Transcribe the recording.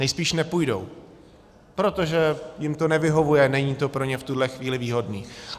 Nejspíš nepůjdou, protože jim to nevyhovuje, není to pro ně v tuhle chvíli výhodné.